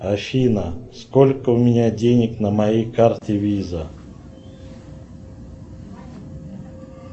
афина сколько у меня денег на моей карте виза